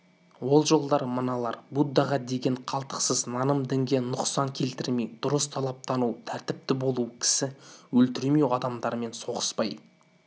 ол жолдар мыналар буддаға деген қалтқысыз наным дінге нұқсан келтірмей дұрыс талаптану тәртіпті болу кісі өлтірмеу адамдармен соғыспай